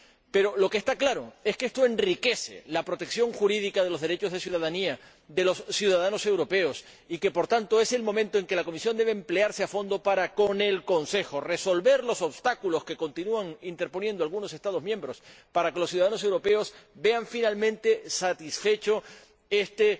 Pero, lo que está claro es que esto enriquece la protección jurídica de los derechos de ciudadanía de los ciudadanos europeos y que, por tanto, es el momento en que la Comisión debe emplearse a fondo para resolver, con el Consejo, los obstáculos que continúan interponiendo algunos Estados miembros, para que los ciudadanos europeos vean finalmente satisfecho este